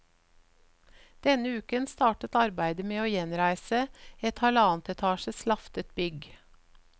Denne uken startet arbeidet med å gjenreise et halvannet etasjes laftet bygg.